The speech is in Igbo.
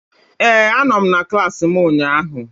Ee, anọ m na klassị mụ ụnyaahụ.